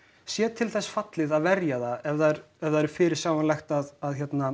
sé til þess fallið að verja það ef það ef það er fyrirsjáanlegt að